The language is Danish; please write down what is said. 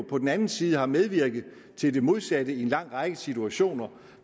på den anden side har medvirket til det modsatte i en lang række situationer